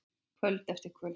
Kvöld eftir kvöld.